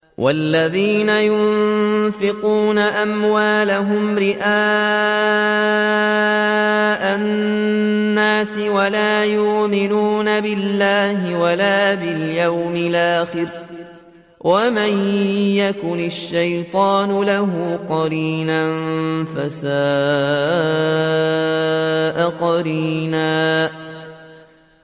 وَالَّذِينَ يُنفِقُونَ أَمْوَالَهُمْ رِئَاءَ النَّاسِ وَلَا يُؤْمِنُونَ بِاللَّهِ وَلَا بِالْيَوْمِ الْآخِرِ ۗ وَمَن يَكُنِ الشَّيْطَانُ لَهُ قَرِينًا فَسَاءَ قَرِينًا